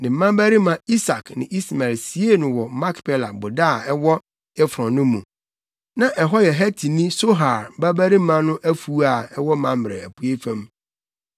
Ne mmabarima Isak ne Ismael siee no wɔ Makpela boda a ɛwɔ Efron no mu. Na ɛhɔ yɛ Hetini Sohar babarima no afuw a ɛwɔ Mamrɛ apuei fam.